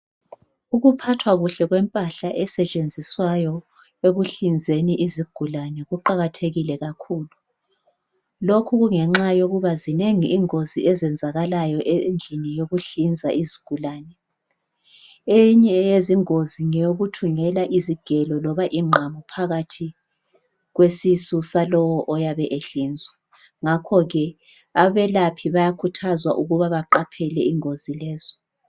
Ukuphathwa kuhle kwempahla esetshenziswayo ekuhlinzeni izigulane kuqakathekile kakhulu lokhu kungenxa yokuba zinengi ingozi ezenzakalayo endlini yokuhlinza izigulane eyinye yezingozi ngeyokuthungela izigelo noma ingqamu phakathi kwesisu salowo oyabe ehlinzwa ngakhoke abelaphi bayakhuthazwa ukuba baqaphele ingozi lezo.